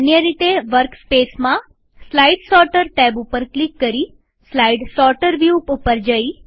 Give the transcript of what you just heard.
અન્ય રીતેવર્કસ્પેસમાંસ્લાઈડ sorter tab ઉપર ક્લિક કરી સ્લાઈડ સોર્ટર વ્યુ ઉપર જઈ